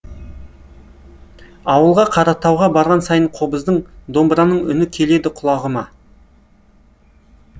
ауылға қаратауға барған сайын қобыздың домбыраның үні келеді құлағыма